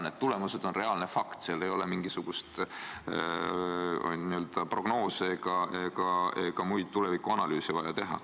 Need tulemused on fakt, seal ei ole mingisuguseid prognoose ega muid tulevikuanalüüse vaja teha.